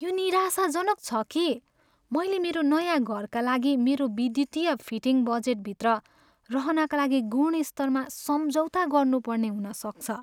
यो निराशाजनक छ कि मैले मेरो नयाँ घरका लागि मेरो विद्युतीय फिटिङ बजेटभित्र रहनका लागि गुणस्तरमा सम्झौता गर्नुपर्ने हुन सक्छ।